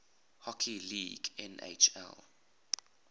hockey league nhl